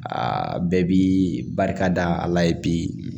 Aa bɛɛ bi barika da a la ye bi